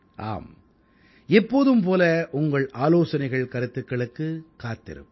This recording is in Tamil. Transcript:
ஆம் எப்போதும் போல உங்கள் ஆலோசனைகள்கருத்துக்களுக்குக் காத்திருப்பு